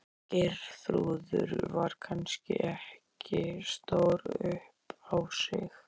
Geirþrúður var kannski ekki stór upp á sig.